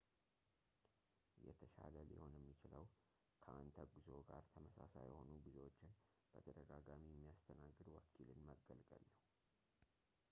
የተሻለ ሊሆን የሚችለው ከአንተ ጉዞ ጋር ተመሳሳይ የሆኑ ጉዞዎችን በተደጋጋሚ የሚያስተናግድ ወኪልን መገልገል ነው